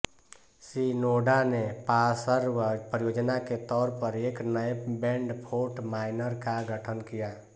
Shinoda ने पार्श्व परियोजना के तौर पर एक नए बैंड फ़ोर्ट माइनर का गठन किया